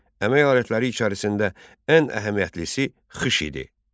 Əmək alətləri içərisində ən əhəmiyyətlisi xış idi.